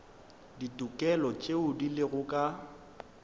ditokelo tšeo di lego ka